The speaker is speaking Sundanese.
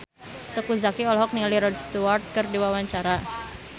Teuku Zacky olohok ningali Rod Stewart keur diwawancara